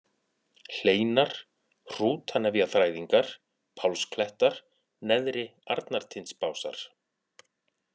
Hleinar, Hrútanefjaþræðingar, Pálsklettar, Neðri-Arnartindsbásar